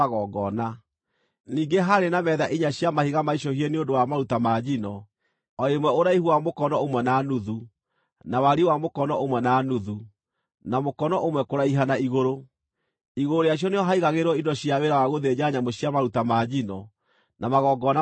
Ningĩ haarĩ na metha inya cia mahiga maicũhie nĩ ũndũ wa maruta ma njino, o ĩmwe ũraihu wa mũkono ũmwe na nuthu, na wariĩ wa mũkono ũmwe na nuthu, na mũkono ũmwe kũraiha na igũrũ. Igũrũ rĩacio nĩho haigagĩrĩrwo indo cia wĩra wa gũthĩnja nyamũ cia maruta ma njino, na magongona marĩa mangĩ.